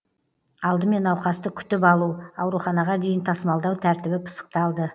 алдымен науқасты күтіп алу ауруханаға дейін тасымалдау тәртібі пысықталды